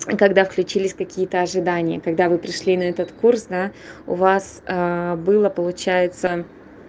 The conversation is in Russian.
когда включились какие-то ожидания когда вы пришли на этот курс да у вас было получается